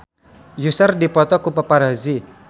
Usher dipoto ku paparazi